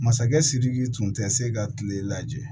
Masakɛ sidiki tun tɛ se ka kile lajɛ